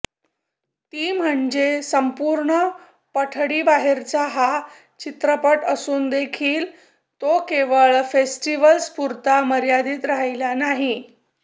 ती म्हणजे संपूर्ण पठडीबाहेरचा हा चित्रपट असूनदेखील तो केवळ फेस्टिवल्सपुरता मर्यादित राहिला नाही